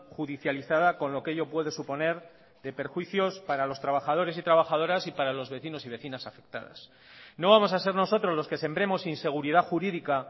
judicializada con lo que ello puede suponer de perjuicios para los trabajadores y trabajadoras y para los vecinos y vecinas afectadas no vamos a ser nosotros los que sembremos inseguridad jurídica